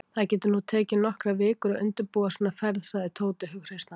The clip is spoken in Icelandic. Það getur nú tekið nokkrar vikur að undirbúa svona ferð sagði Tóti hughreystandi.